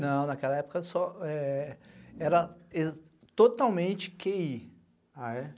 Não, naquela época era totalmente quêi